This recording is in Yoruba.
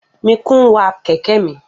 Mikun wa kẹ̀kẹ́ mi.